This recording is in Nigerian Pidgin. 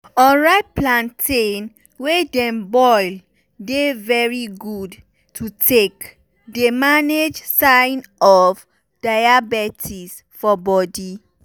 unripe plantain wey dem boil dey very good to take dey manage sign of diabetes for bodi.